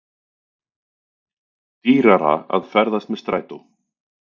Dýrara að ferðast með strætó